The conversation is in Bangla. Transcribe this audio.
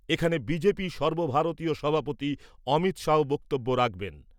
এখানে সর্বভারতীয় সভাপতি অমিত শাহও বক্তব্য রাখবেন ।